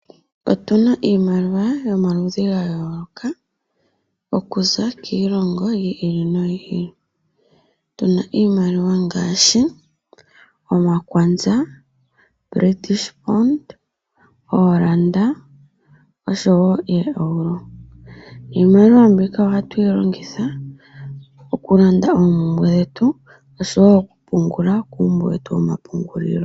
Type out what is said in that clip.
Otu na iimaliwa yomaludhi ga yooloka oku za kiilongo yiili noyiili. Tu na iimaliwa ngaashi omakwanza, letishpond, ooranda osho wo ooEuro, niimaliwa mbika oha tuyi longitha oku landa oompumbwe dhetu osho wo oku pungula kuumbo wetu woma pungulilo.